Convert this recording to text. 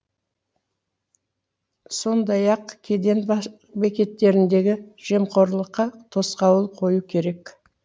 сондай ақ кеден бекеттеріндегі жемқорлыққа тосқауыл қою керек